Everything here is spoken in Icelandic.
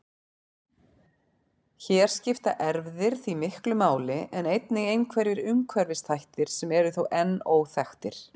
Hér skipta erfðir því miklu máli en einnig einhverjir umhverfisþættir sem eru þó enn óþekktir.